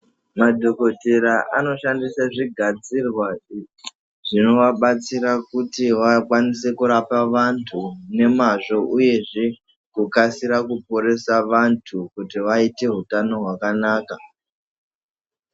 Madhokodheya anoshandisa zvigadzirwa zvinoabatsira kuti vakwanise kurapa vantu nemazvo uyezve kukwanise kuporesa vantu kuti vaite utano hwakanaka.